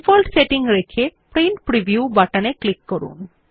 default setting রেখে print preview বাটনে click করুন